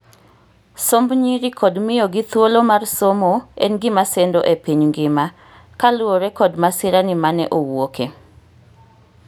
somb nyiri kod miyo gi thuolo mar somo en gima sendo e piny ngima , kaluore kod masira ni mane owuoke